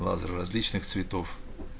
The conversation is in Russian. лазер различных цветов